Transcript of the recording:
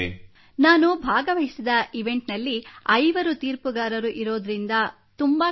ನಾನು ಭಾಗವಹಿಸುವಂತಹ ಈವೆಂಟ್ನಲ್ಲಿ ಐವರು ತೀರ್ಪುದಾರರು ಇರುವುದರಿಂದ ಇದು ತುಂಬಾ ಕಠಿಣ